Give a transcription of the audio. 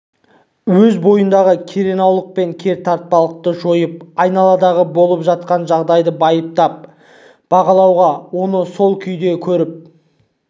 өз бойындағы керенаулық пен кертартпалықты жойып айналадағы болып жатқан жағдайды байыптап бағалауға оны сол күйінде көріп